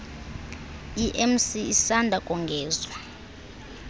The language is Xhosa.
emc isanda kongezwa